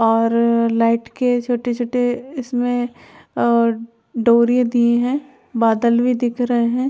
और लाइट के छोटी-छोटी इसमें अ डोरी दी है बादल भी दिख रहे हैं।